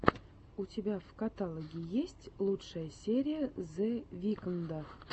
у тебя в каталоге есть лучшая серия зе викнда